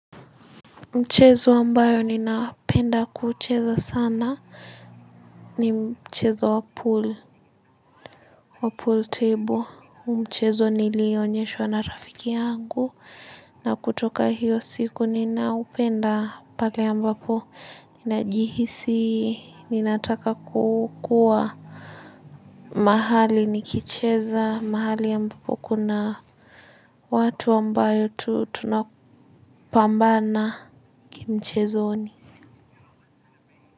Mchezo ambao ninapenda kucheza sana ni mchezo wa pool table. Mchezo nilionyeshwa na rafiki yangu. Na kutoka hiyo siku ninaupenda pale ambapo. Ninajihisi, ninataka kukua mahali nikicheza. Mahali ambapo kuna watu ambao tunapambana kimchezoni.